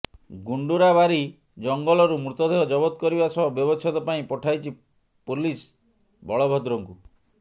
ଗୁଣ୍ଡୁରାବାରି ଜଙ୍ଗଲରୁ ମୃତଦେହ ଜବତ କରିବା ସହ ବ୍ୟବଚ୍ଛେଦ ପାଇଁ ପଠାଇଛି ପୋଲିସ ବଳଭଦ୍ରଙ୍କୁ